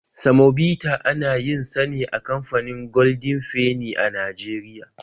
Samobita ana yin sane a kamfanin golden fenny a Najeriya.